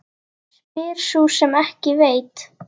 Spyr sú sem ekki veit.